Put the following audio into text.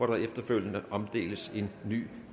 der efterfølgende omdeles en ny